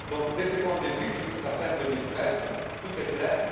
De ce point de vue, jusqu'à fin 2013, tout est donc clair.